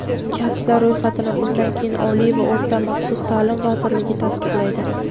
kasblar ro‘yxatini bundan keyin Oliy va o‘rta maxsus ta’lim vazirligi tasdiqlaydi.